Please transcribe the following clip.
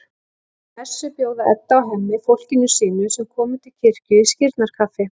Eftir messu bjóða Edda og Hemmi fólkinu sínu, sem kom til kirkju, í skírnarkaffi.